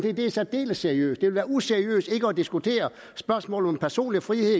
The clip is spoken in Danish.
at det er særdeles seriøst det ville være useriøst ikke at diskutere spørgsmålet om personlig frihed